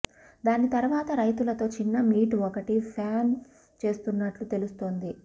దాని తరువాత రైతులతో చిన్న మీట్ ఒకటి ప్లాన్ చేస్తున్నట్లు తెలుస్తోంది